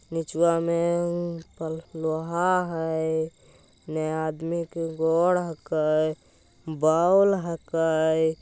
निचवा मे कल लोहा हई दो आदमी कुछ गोड हाके बोल हाके ।